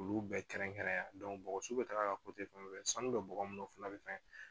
Olu bɛɛ kɛrɛn kɛrɛnnen ya bɔgɔsu bɛ taga ka sanu bɛ bɔgɔ minnu fana bɛ fɛn